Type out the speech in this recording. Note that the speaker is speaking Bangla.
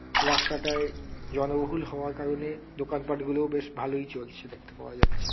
রাস্তাটয় জনবহুল হওয়ার কারণে দোকান পাঠগুলো বেশ ভালোই চলছে দেখতে পাওয়া যাচ্ছে।